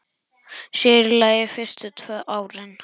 Sér í lagi fyrstu tvö árin.